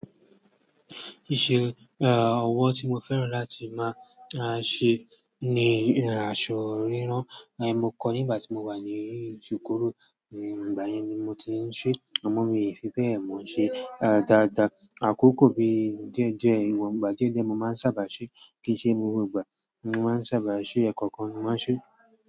Ise ọwọ ti mo fẹ́ràn lati ma ṣe ni aṣọ rírán. Mo kọ nígbà tí mo wà ní ikoró, nígbà yẹn ni mo ti ń ṣe, àmọ́ mi ò fi bẹ́ẹ̀ mọ ṣe dáadáa. Àkókò bí díẹ̀ díẹ̀, ìwọ̀n gbà díẹ̀ díẹ̀ mo máa ń sábà ṣe, kì í ṣe gbogbo ìgbà mo máa ń sábà ṣe, ẹ̀ẹ̀kọ̀kan ni ma ń ṣe.